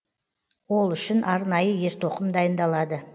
ол үшін арнайы ер тоқым дайындалады